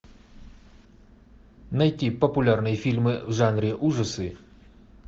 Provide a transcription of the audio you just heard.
найти популярные фильмы в жанре ужасы